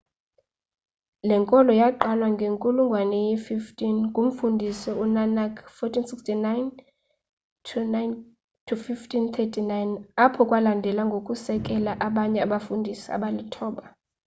le nkolo yaqalwa ngenkulungwane ye-15 ngumfundisi u-nanak 1469-1539. apho kwalandela ngokusekela abanye abafundisi abalithoba